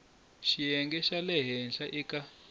xiyenge xa le henhla eka